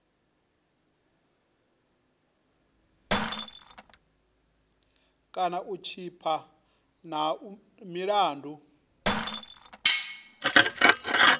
kana u tshipa na milandu